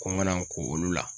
Ko n ka na n ko olu la